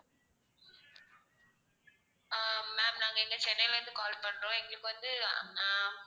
அஹ் ma'am நாங்க இங்க சென்னையில இருந்து call பண்றோம் எங்களுக்கு வந்து அஹ் ஹம்